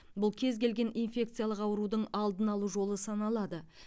бұл кез келген инфекциялық аурудың алдын алу жолы саналады